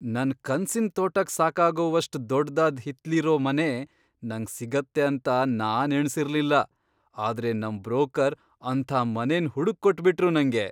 ನನ್ ಕನ್ಸಿನ್ ತೋಟಕ್ ಸಾಕಾಗೋವಷ್ಟು ದೊಡ್ದಾದ್ ಹಿತ್ಲಿರೋ ಮನೆ ನಂಗ್ ಸಿಗತ್ತೆ ಅಂತ ನಾನ್ ಎಣ್ಸಿರ್ಲಿಲ್ಲ, ಆದ್ರೆ ನಮ್ ಬ್ರೋಕರ್ ಅಂಥ ಮನೆನ್ ಹುಡುಕ್ಕೊಟ್ಬಿಟ್ರು ನಂಗೆ!